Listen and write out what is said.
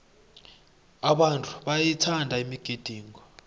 abantu bayayithanda imigidingo